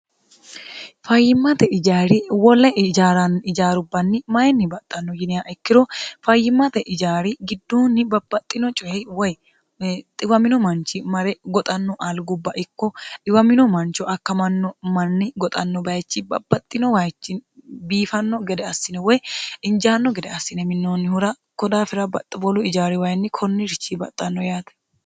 fayyimmate ijaari wole jara ijaarubbanni mayinni baxxanno yiniha ikkiro fayyimmate ijaari gidduunni babbaxxino cohe woy xiwamino manchi mare goxanno aalgubba ikko iwamino mancho akkamanno manni goxanno bayichi baaxxino wayichi biifanno gede assine woy injaanno gede assine minoonnihura kodaafira baxxiwolu ijaari wayinni konni richi baxxanno yaate